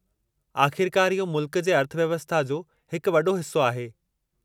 आख़िरकार, इहो मुल्कु जे अर्थव्यवस्था जो हिकु वॾो हिस्सो आहे।